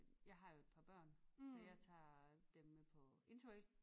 Jeg har jo et par børn så jeg tager dem med på interrail